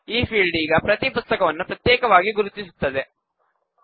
ಈ ಫೀಲ್ಡ್ ಈಗ ಪ್ರತೀ ಪುಸ್ತಕವನ್ನೂ ಪ್ರತ್ಯೇಕವಾಗಿ ಗುರುತಿಸುತ್ತದೆ